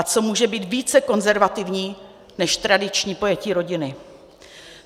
A co může být více konzervativní než tradiční pojetí rodiny?